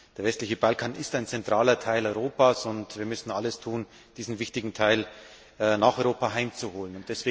Der westliche Balkan ist ein zentraler Teil Europas, und wir müssen alles tun, um diesen wichtigen Teil nach Europa heimzuholen.